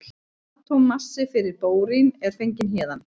Atómmassi fyrir bórín er fenginn héðan.